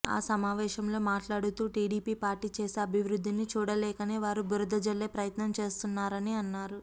ఆ సమావేశంలో మాట్లాడుతూ టీడీపీ పార్టీ చేసే అభివృద్ధిని చూడలేకనే వారు బురద జల్లే ప్రయత్నం చేస్తున్నారని అన్నారు